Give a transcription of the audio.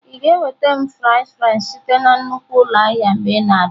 Ị ga-enweta m fries french site na nnukwu ụlọ ahịa mgbe ị na-abịa?